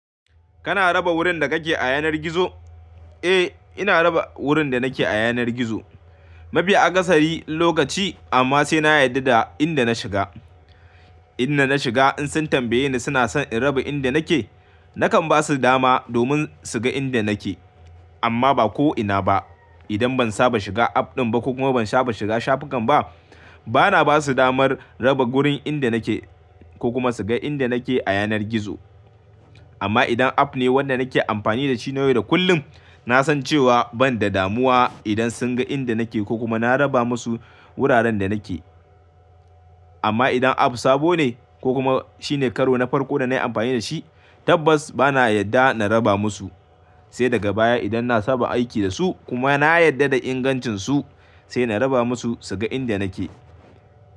Kana raba wurin da kake a yanar gizo? Eh, ina raba wurin da nake a yanar gizo. Mafi akasari lokaci amma sai na yarda da inda na shiga. Inda na shiga in sun tambaye ni suna son in raba inda nake, nakan ba su dama domin su ga inda nake. Amma ba ko ina ba. Idan ban saba shiga app ɗin ba ko kuma ban saba shiga shafukan ba, bana ba su damar raba wurin inda nake ko kuma su ga inda nake a yanar gizo. Amma idan app ne wanda nake amfani da shi na yau da kullum, na san cewa ban da damuwa idan sun ga inda nake ko kuma na raba musu wuraren da nake. Amma idan app sabo ne ko kuma shine karo na farko da na yi amfani da shi, tabbas bana yarda na raba musu. Sai daga baya idan na saba aiki da su kuma na yarda da ingancinsu sai na raba musu su ga inda nake.